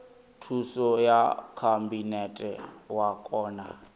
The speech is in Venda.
thuso ya khabinete wa kona